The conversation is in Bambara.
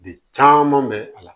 De caman bɛ a la